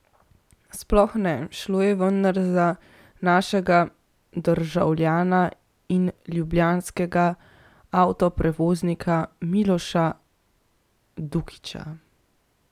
Sploh ne, šlo je vendar za našega državljana in ljubljanskega avtoprevoznika Miloša Dukića!